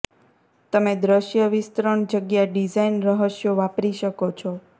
તમે દ્રશ્ય વિસ્તરણ જગ્યા ડિઝાઈન રહસ્યો વાપરી શકો છો